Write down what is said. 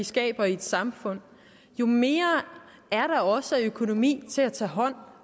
skaber i et samfund jo mere er der også af økonomi til at tage hånd